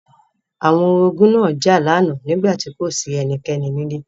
Àwọn orogún náà jà lánàá nígbà tí kò sí ẹnikẹ́ni nílé.